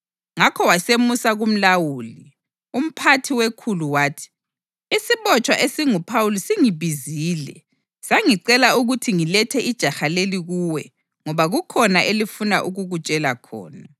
Ngakho wasemusa kumlawuli. Umphathi wekhulu wathi, “Isibotshwa esinguPhawuli singibizile sangicela ukuthi ngilethe ijaha leli kuwe ngoba kukhona elifuna ukukutshela khona.”